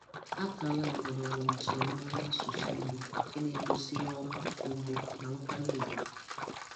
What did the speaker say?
Akara agbụrụ bụ njirimara n'asụsụ Igbo nke na-egosi ihu ọma, ugwu na nkwanye ùgwù.